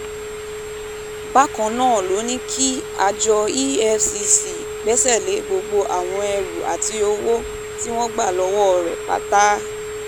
bákan náà ló ní kí àjọ efcc gbẹ́sẹ̀ lé gbogbo àwọn ẹrú àti owó tí wọ́n gbà lọ́wọ́ rẹ̀ pátá